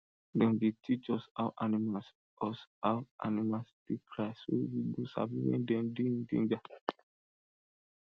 dem bin teach us how animals us how animals dey cry so we go sabi when dem dey in danger